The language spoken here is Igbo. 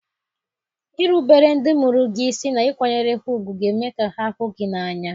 Irubere ndị mụrụ gị isi na ịkwanyere ha ùgwù ga-eme ka ha hụ gị n’anya.